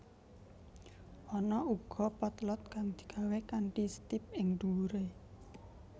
Ana uga potlot kang digawé kanthi setip ing dhuwuré